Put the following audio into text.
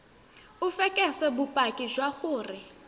o fekese bopaki jwa gore